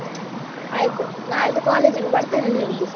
ಆಯ್ತು ನಾಲ್ದು college ಗೆ ಬರ್ತೇನೆ ನಿಮ್ದು.